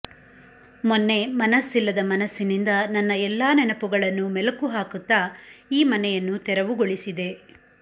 ಮೊನ್ನೆ ಮನಸ್ಸಿಲ್ಲದ ಮನಸ್ಸಿನಿಂದ ನನ್ನ ಎಲ್ಲಾ ನೆನಪುಗಳನ್ನು ಮೆಲುಕು ಹಾಕುತ್ತಾ ಈ ಮನೆಯನ್ನು ತೆರವುಗೊಳಿಸಿದೆ